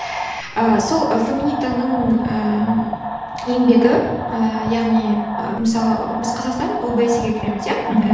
ыыы сол ы феминитаның ыыы еңбегі ііі яғни і мысалы біз қазақстан обсе ге кіреміз иә мхм